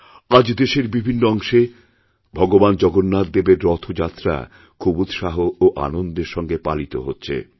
আজ দেশেরবিভিন্ন অংশে ভগবান জগন্নাথ দেবের রথযাত্রা খুব উৎসাহ ও আনন্দের সঙ্গে পালিতহচ্ছে